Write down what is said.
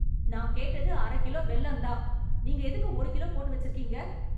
நா கேட்டது அரக் கிலோ வெல்லம் தான் நீங்க எதுக்கு ஒரு கிலோ போட்டு வச்சிருக்கீங்க